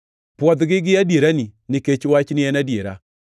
Pwodhgi gi adierani, nikech Wachni en adiera.